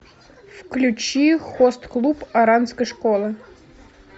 включи хост клуб оранской школы